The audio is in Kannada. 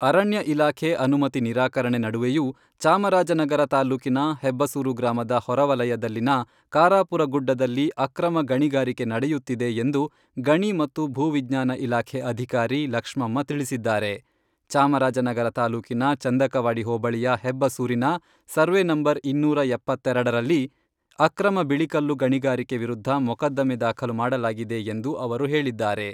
ಅರಣ್ಯ ಇಲಾಖೆ ಅನುಮತಿ ನಿರಾಕರಣೆ ನಡುವೆಯೂ ಚಾಮರಾಜನಗರ ತಾಲ್ಲೂಕಿನ ಹೆಬ್ಬಸೂರು ಗ್ರಾಮದ ಹೊರವಲಯದಲ್ಲಿನ ಕಾರಾಪುರ ಗುಡ್ಡದಲ್ಲಿ ಅಕ್ರಮ ಗಣಿಗಾರಿಕೆ ನಡೆಯುತ್ತಿದೆ ಎಂದು ಗಣಿ ಮತ್ತು ಭೂ ವಿಜ್ಞಾನ ಇಲಾಖೆ ಅಧಿಕಾರಿ ಲಕ್ಷ್ಮಮ್ಮ ತಿಳಿಸಿದ್ದಾರೆ. ಚಾಮರಾಜನಗರ ತಾಲೂಕಿನ ಚಂದಕವಾಡಿ ಹೋಬಳಿಯ ಹೆಬ್ಬಸೂರಿನ ಸರ್ವೇ ನಂಬರ್ ಇನ್ನೂರ ಎಪ್ಪತ್ತೆರೆಡರಲ್ಲಿ ಅಕ್ರಮ ಬಿಳಿಕಲ್ಲು ಗಣಿಗಾರಿಕೆ ವಿರುದ್ಧ ಮೊಕದ್ದಮೆ ದಾಖಲು ಮಾಡಲಾಗಿದೆ ಎಂದು ಅವರು ಹೇಳಿದ್ದಾರೆ.